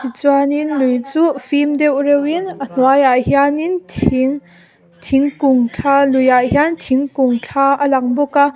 chuanin lui chuh fim deuh reuhin a hnuaiah hianin thing thingkung thla luiah hian thingkung thla a lang bawk a.